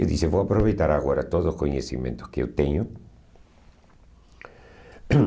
Eu disse, vou aproveitar agora todos os conhecimentos que eu tenho.